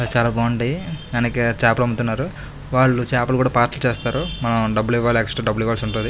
చాల బాగుంటాయి వెనక చేపలు అమ్ముతున్నారు వాళ్ళు చేపలు కూడా పార్సెల్ చేస్తారు మనం డబ్బులు ఇవ్వాలి ఎక్స్ట్రా డబ్బులు ఇవ్వాల్సి ఉంటది.